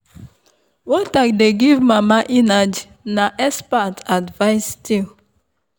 water dey give mama energy na expert advice still.